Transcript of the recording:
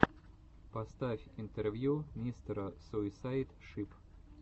поставь интервью мистера суисайд шип